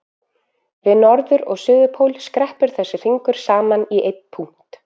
Við norður- og suður- pól skreppur þessi hringur saman í einn punkt.